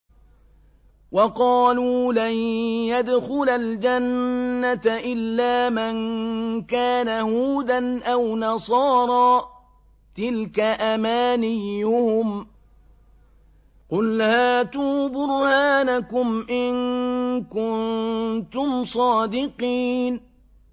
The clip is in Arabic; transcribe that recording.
وَقَالُوا لَن يَدْخُلَ الْجَنَّةَ إِلَّا مَن كَانَ هُودًا أَوْ نَصَارَىٰ ۗ تِلْكَ أَمَانِيُّهُمْ ۗ قُلْ هَاتُوا بُرْهَانَكُمْ إِن كُنتُمْ صَادِقِينَ